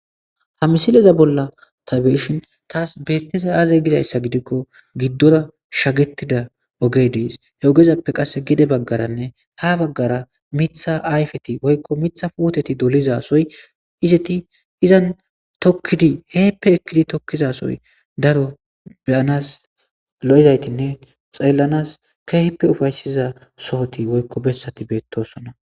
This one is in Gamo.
Ha misileza bolla tha be7ishin thas beeththizay aazzee gizeyssa gidikko giddora shageththida ogee de7ees; he ogezappe qassi gede baggaranne ha baggara miththa ayfethi woykko miththa puuthethi doliza sohoy izethi izan thokkidi hinippe ekkidi thokkiza sohoy daro be7anaas lo7izaythinne xeellanaas keehippe ufayssiza sohothi woykko bessathi beththoosona.